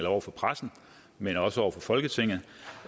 over for pressen men også over for folketinget